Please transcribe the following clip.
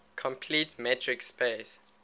complete metric space